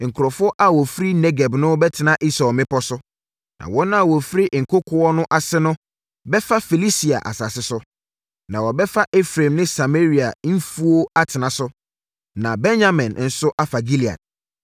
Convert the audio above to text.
Nkurɔfoɔ a wɔfiri Negeb no bɛtena Esau mmepɔ so, Na wɔn a wɔfiri nkokoɔ no ase no, bɛfa Filistia asase no, na wɔbɛfa Efraim ne Samaria mfuo atena so, na Benyamin nso afa Gilead.